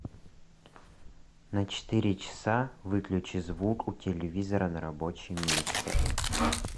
на четыре часа выключи звук у телевизора на рабочем месте